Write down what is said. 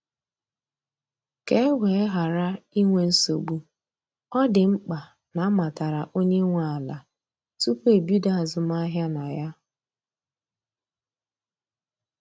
Ka e wee ghara inwe nsogbu, ọ dị mkpa na amatara onye nwe ala tupu ebido azụmahịa na ya.